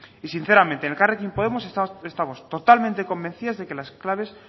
y sinceramente en elkarrekin podemos estamos totalmente convencidas de que las claves